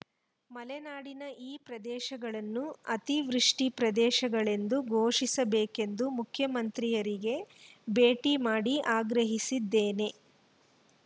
ಮಲೆನಾಡಿನ ಈ ಪ್ರದೇಶಗಳನ್ನು ಅತಿವೃಷ್ಟಿಪ್ರದೇಶಗಳೆಂದು ಘೋಷಿಸಬೇಕೆಂದು ಮುಖ್ಯಮಂತ್ರಿಯರಿಗೆ ಭೇಟಿ ಮಾಡಿ ಆಗ್ರಹಿಸಿದ್ದೇನೆ